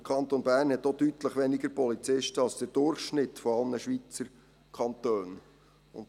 Der Kanton Bern hat auch deutlich weniger Polizisten als der Durchschnitt aller Schweizer Kantone.